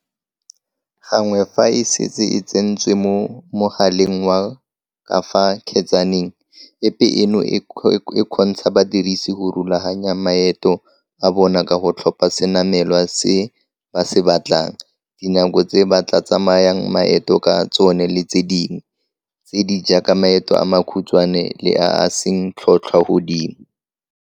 Go le gantsi badiredi ba ka boela kwa ditirong tsa bona ntle le go dira diteko lekgetlo la bobedi.